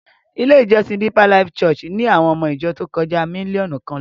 Ilé-ìjọsìn Deeper Life Bible Church ni àwọn ọmọ ìjọ tó kọjá mílíọ̀nù kan lọ.